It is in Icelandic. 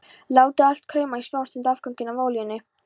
Látið allt krauma í smástund í afganginum af olíunni.